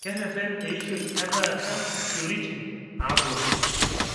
Kerreten eishoi e taata ishoritin naapuonu